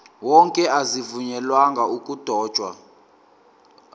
wonke azivunyelwanga ukudotshwa